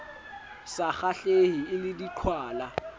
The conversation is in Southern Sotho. sa kgahlehe e le diqhwala